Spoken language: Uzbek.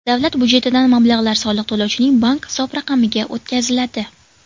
Davlat budjetidan mablag‘lar soliq to‘lovchining bank hisob raqamiga o‘tkaziladi.